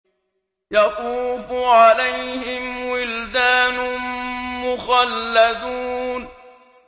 يَطُوفُ عَلَيْهِمْ وِلْدَانٌ مُّخَلَّدُونَ